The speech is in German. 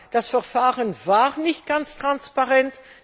Das Verfahren war nicht ganz transparent.